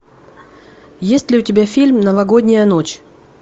есть ли у тебя фильм новогодняя ночь